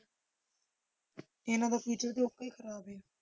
ਇਹਨਾਂ ਦਾ future ਤੇ ਓਦਾਂ ਹੀ ਖ਼ਰਾਬ ਹੈ।